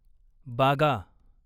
बागा